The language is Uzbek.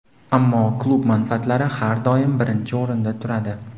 Ammo klub manfaatlari har doim birinchi o‘rinda turadi.